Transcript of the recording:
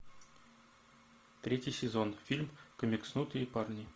третий сезон фильм комикснутые парни